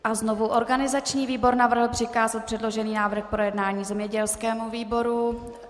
A znovu: Organizační výbor navrhl přikázat předložený návrh k projednání zemědělskému výboru.